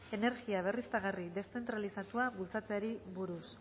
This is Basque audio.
energia berriztagarri deszentralizatua bultzatzeari buruz